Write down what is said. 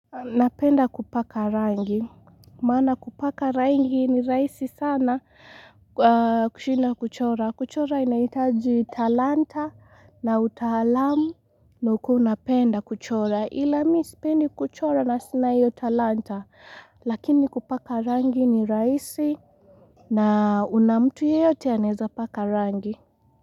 Napenda kupaka rangi, maana kupaka rangi ni rahisi sana kushinda kuchora, kuchora inahitaji talanta na utaalamu na ukuwe unapenda kuchora Ila mii sipendi kuchora na sina hiyo talanta, lakini kupaka rangi ni raisi na unamtu yeyote anaeza paka rangi.